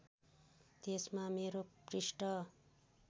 त्यसमा मेरो पृष्ठ